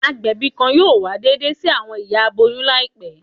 Agbẹbi kan yoo wa deede si awọn iya aboyun laipe